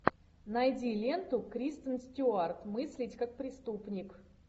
найди ленту кристен стюарт мыслить как преступник